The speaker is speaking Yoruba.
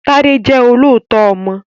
Tádé jẹ́ olóòótọ́ ọmọ